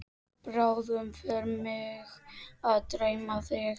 Bráðum fer mig að dreyma þig.